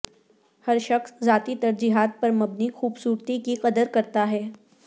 ہر شخص ذاتی ترجیحات پر مبنی خوبصورتی کی قدر کرتا ہے